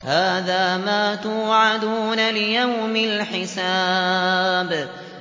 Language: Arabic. هَٰذَا مَا تُوعَدُونَ لِيَوْمِ الْحِسَابِ